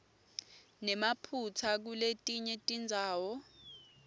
nemaphutsa kuletinye tindzawo